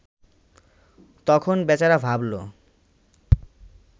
তখন বেচারা ভাবল